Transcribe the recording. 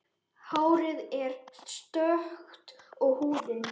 Hárið er stökkt og húðin.